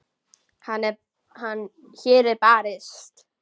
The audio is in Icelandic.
Hér er barist.